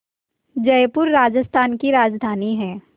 जयपुर राजस्थान की राजधानी है